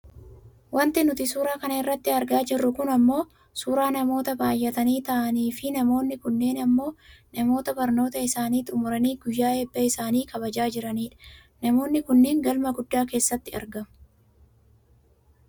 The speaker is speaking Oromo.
Wanti nuti suura kana irratti argaa jirru kun ammoo suuraa namoota baayyatanii taa'aaniifi namoonni kunneen ammoo namoota barnoota isaanii xummuranii guyyaa eebba isaanii kabajaa jiraniidha. Namoonni kunneen galma guddaa keessatti argamu.